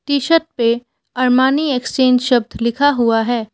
T shirt पे Armani exchange शब्द लिखा हुआ है।